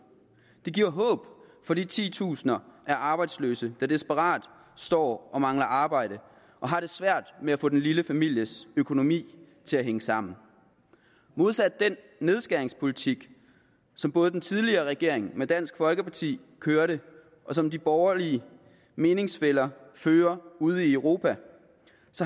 det giver håb for de titusinder af arbejdsløse der desperat står og mangler arbejde og har det svært med at få den lille families økonomi til at hænge sammen modsat den nedskæringspolitik som både den tidligere regering med dansk folkeparti førte og som de borgerlige meningsfæller fører ude i europa